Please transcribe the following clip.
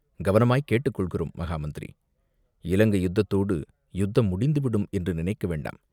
"கவனமாய்க் கேட்டுக் கொள்கிறோம், மகா மந்திரி!" "இலங்கை யுத்தத்தோடு யுத்தம் முடிந்துவிடும் என்று நினைக்க வேண்டாம்.